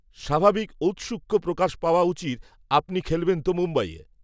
স্বাভাবিক ঔত্সুক্য প্রকাশ পাওয়া উচিত আপনি খেলবেন তো মুম্বইয়ে